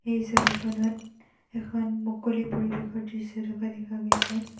এই ছবিখনত এখন মুকলি পৰিৱেশৰ দৃশ্য থকা দেখা গৈছে।